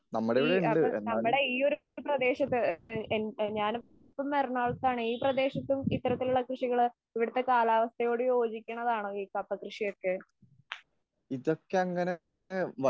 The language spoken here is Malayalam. ഈ അപ്പൊ നമ്മുടെ ഈ പ്രദേശത്തു ഞാനിപ്പോ എറണാംകുളത്താണ് ഈ പ്രദേശത്തും ഇത്തരത്തിലുള്ള കൃഷികള് ഇവിടെത്തെ കാലാവസ്ഥയോടുകൂടി യോജിക്കുന്നതാണോ ഈ കപ്പ കൃഷിയൊക്കെ?